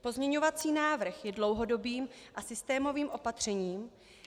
Pozměňovací návrh je dlouhodobým a systémovým opatřením.